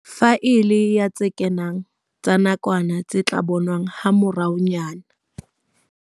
Faele ya tse kenang tsa nakwana tse tla bonwa hamoraonyana.